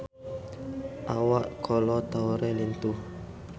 Awak Kolo Taure lintuh